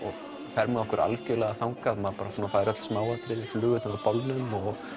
fer með okkur algjörlega þangað maður fær öll smáatriði úr bolnum